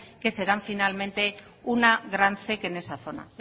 que se dan finalmente una gran zec en esa zona